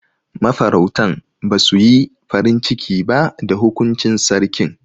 Ma farautan basu yi farin ciki ba da hukuncin Sarkin.